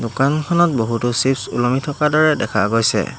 দোকানখনত বহুতো চিপ্চ্ ওলমি থকাৰ দৰে দেখা গৈছে।